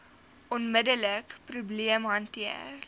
onmiddelike probleem hanteer